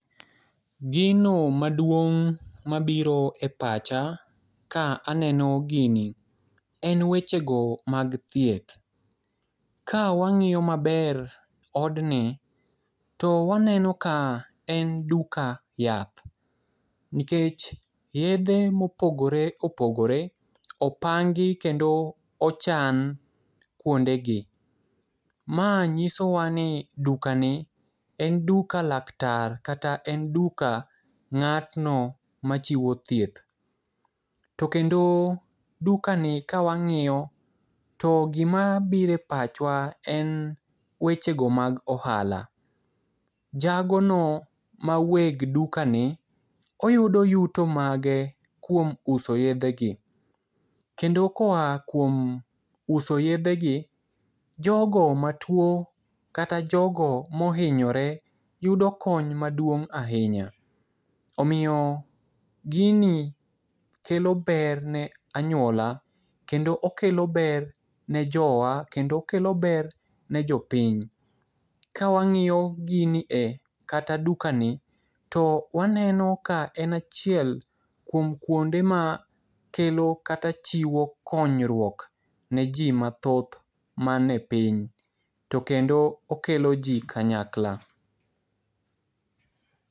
Gino maduong' mabiro e pacha ka aneno gini en wechego mag thieth. Ka wang'iyo maber odni to waneno ka en duka yath. Nikech yedhe mopogore opogore opangi kendo ochan kuondegi. Ma nyisowa ni dukani en duka laktar kata en duka ng'atno machiwo thieth. To kendo dukani ka wang'iyo to gima biro e pachwa en wechego mag ohala. Jagono ma weg dukani oyudo yuto mage kuom uso yedhegi kendo koa kuom uso yedhegi jogo matuo kata jogo mohinyore yudo kony maduong' ahinya. Omiyo gini kelo ber ne anyuola kendo okelo ber ne jowa kendo okelo ber ne jopiny. Ka wang'iyo gini kata dukani to waneno ka en achiel kuom kuonde ma kelo kata chiwo konyruok neji mathoth manie piny to kendo okelo ji kanyakla.